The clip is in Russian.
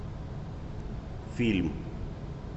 фильм